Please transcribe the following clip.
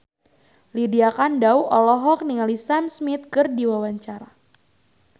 Lydia Kandou olohok ningali Sam Smith keur diwawancara